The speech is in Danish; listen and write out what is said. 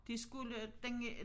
De skulle den øh